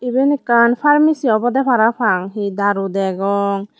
eben ekkan pharmacy obode parapang he daru degong.